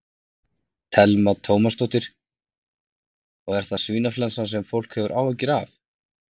Telma Tómasson: Og er það svínaflensan sem fólk hefur áhyggjur af?